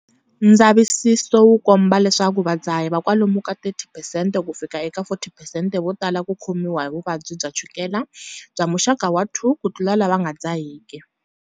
Ndzavisiso wu komba leswaku vadzahi va kwalomu ka 30 percent kufika eka 40 percent va tala ku khomiwa hi vuvabyi bya chukela bya muxaka wa 2 kutlula lava nga dzahiki.